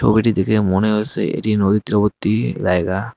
ছবিটি দেখে মনে হয়েসে এটি নদী তীরবর্তী জায়গা।